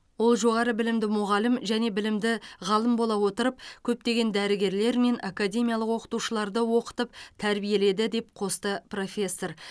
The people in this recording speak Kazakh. ол жоғары білімді мұғалім және білімді ғалым бола отырып көптеген дәрігерлер мен академиялық оқытушыларды оқытып тәрбиеледі деп қосты профессор